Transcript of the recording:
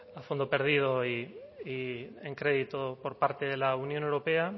a fondo perdido y en crédito por parte de la unión europea